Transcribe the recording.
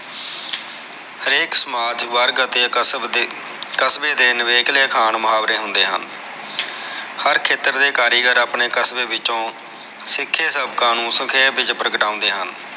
ਹਰੇਕ ਸਮਾਜ ਵਰਗ ਅਤੇ ਕਸਬੇ ਦੇ ਨਵੇਕਲੇ ਅਖਾਣ ਮੁਹਾਵਰੇ ਹੁੰਦੇ ਹਨ ਹਜ ਖੇਤਰ ਦੇ ਕਾਰੀਗਰ ਆਪਨੇ ਕਸਬੇ ਵਿਚੋ ਸਿਖੇ ਸਭ ਕਾਨੂਨ ਸਖੇਪ ਵਿਚ ਪ੍ਰਗਟਾਉਂਦੇ ਹਨ